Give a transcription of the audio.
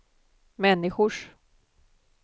människors